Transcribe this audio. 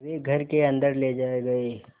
वे घर के अन्दर ले जाए गए